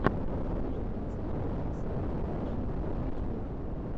покажи концерт ксаны вижн на ютьюбе